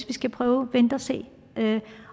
vi skal prøve at vente og se